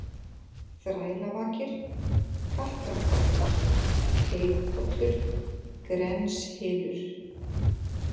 Þrælavakir, Kattarpollur, Teigpollur, Grenshylur